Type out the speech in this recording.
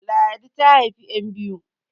Ladi ta haifi `yan biyu